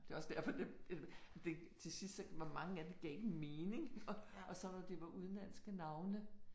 Det også derfor det det det til sidst så hvor mange af det gav ikke mening og og så når det var udenlandske navne